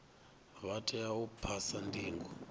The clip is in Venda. vha tea u phasa ndingo